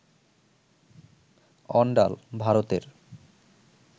অন্ডাল, ভারতের